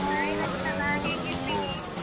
Hai Rachana ಹೇಗಿದ್ದೀ? .